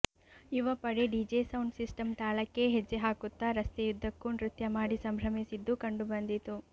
ಯುವಪಡೆ DJ sound system ತಾಳಕ್ಕೆ ಹೆಜ್ಜೆ ಹಾಕುತ್ತಾ ರಸ್ತೆಯುದ್ದಕ್ಕೂ ನೃತ್ಯ ಮಾಡಿ ಸಂಭ್ರಮಿಸಿದ್ದು ಕಂಡು ಬಂದಿತು